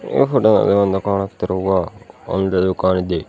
ಈ ಹುಡುಗ ಒಂದು ಕಾಣುತ್ತಿರುವ ಒಂದು ದುಕಾನ್ ಇದೆ.